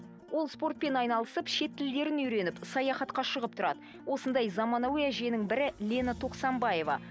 ол спортпен айналысып шет тілдерін үйреніп саяхатқа шығып тұрады осындай заманауи әженің бірі лена тоқсанбаева